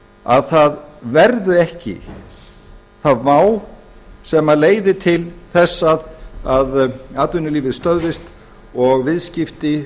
að það verði ekki þá vá sem leiðir til þess að atvinnulífið stöðvist og viðskipti